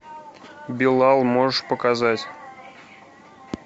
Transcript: билал можешь показать